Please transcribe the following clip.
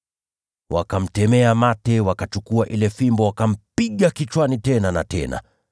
Wakamtemea mate, wakachukua ile fimbo wakampiga kichwani tena na tena.